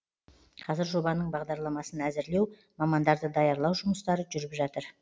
қазір жобаның бағдарламасын әзірлеу мамандарды даярлау жұмыстары жүріп жатыр